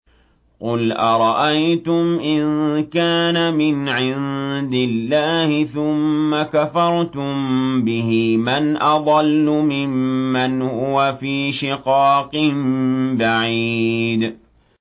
قُلْ أَرَأَيْتُمْ إِن كَانَ مِنْ عِندِ اللَّهِ ثُمَّ كَفَرْتُم بِهِ مَنْ أَضَلُّ مِمَّنْ هُوَ فِي شِقَاقٍ بَعِيدٍ